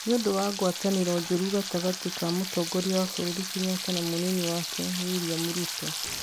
nĩ ũndũ wa ngwatanĩro njũru gatagatĩ ka Mũtongoria wa bũrũri Kenyatta na mũnini wake, William Ruto.